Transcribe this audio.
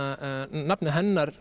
nafnið hennar